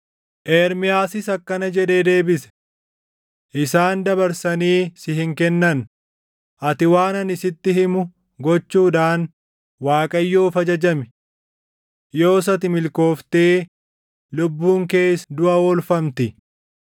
Ermiyaasis akkana jedhee deebise; “Isaan dabarsanii si hin kennan; ati waan ani sitti himu gochuudhaan Waaqayyoof ajajami. Yoos ati milkooftee lubbuun kees duʼa oolfamti.